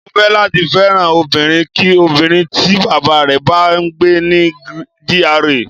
Mo fẹ́ láti fẹ́ràn obìnrin kí obìnrin tí Bàbá rẹ̀ bá ń gbé ní GRA.